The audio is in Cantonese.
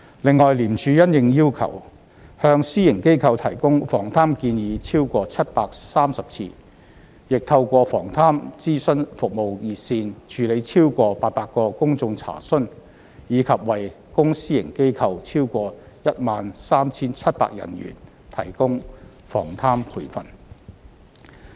另外，廉署因應要求，向私營機構提供防貪建議超過730次；亦透過防貪諮詢服務熱線，處理超過800個公眾查詢；以及為公私營機構超過 13,700 人員提供防貪培訓。